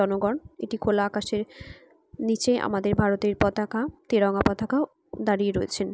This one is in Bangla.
জনগন এটি খোলা আকাশের নিচে আমাদের ভারতের পতাকা তেরঙ্গা পতাকা দাঁড়িয়ে রয়েছেন।